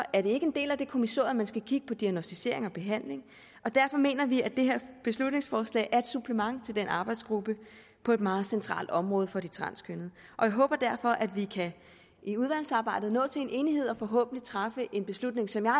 er det ikke en del af det kommissorie at man skal kigge på diagnosticering og behandling og derfor mener vi at det her beslutningsforslag er et supplement til den arbejdsgruppe på et meget centralt område for de transkønnede og jeg håber derfor at vi i udvalgsarbejdet kan nå til en enighed og forhåbentlig træffe en beslutning som jeg